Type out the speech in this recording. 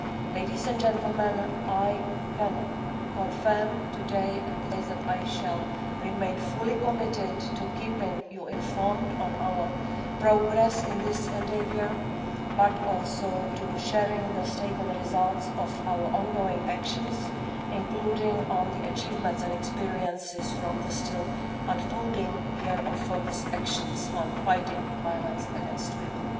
Ladies and gentlemen, I can confirm today that I shall remain fully committed to keeping you informed on our progress in this endeavour, but also to sharing the state and results of our on going actions, including the achievements and experiences from the still unfolding year of focus actions on fighting violence against women.